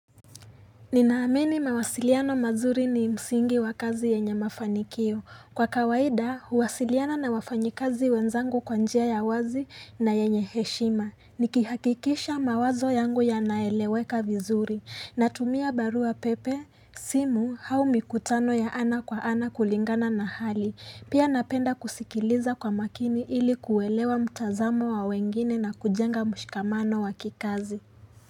Ninaamini mawasiliano mazuri ni msingi wa kazi yenye mafanikio. Kwa kawaida, huwasiliana na wafanyi kazi wenzangu kwa njia ya wazi na yenye heshima. Nikihakikisha mawazo yangu ya naeleweka vizuri. Natumia barua pepe, simu, au mikutano ya ana kwa ana kulingana na hali. Pia napenda kusikiliza kwa makini ili kuelewa mtazamo wa wengine na kujenga mshikamano wa kikazi.